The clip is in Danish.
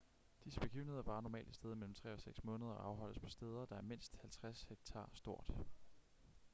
disse begivenheder varer normalt et sted mellem tre og seks måneder og afholdes på steder der er mindst 50 hektar stort